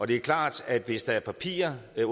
det er klart at hvis der er partier der